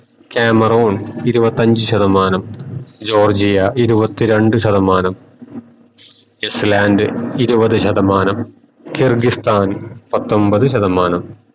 Cameroon ഇരുവത്തഞ്ചു ശതമാനം Georgia ഇരുവതി രണ്ടു ശതമാനം ഐസ്ലാൻഡ് ഇരുവതു ശതമാനം ഗെർഗിസ്ഥാൻ പത്തൊമ്പത് ശതമാനം